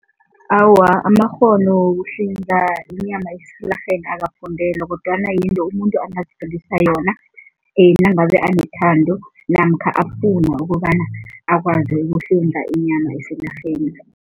Awa, amakghono wokuhlinza inyama esilarheni awafundelwa kodwana yinto umuntu angazifundisa yona nangabe anethando namkha afuna ukobana akwazi ukuhlinza inyama esilarheni.